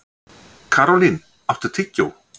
Karólín, áttu tyggjó?